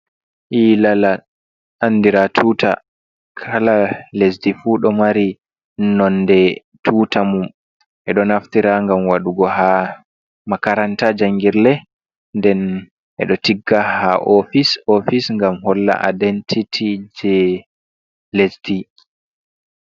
Ilala andira tuta. Kala lesdi fu do mari nonde tuta mun. Ɓedo naftira ngam waɗugo ha makaranta jangirle, nden ɓedo tigga ha ofis-ofis ngam holla identiti je lesdi.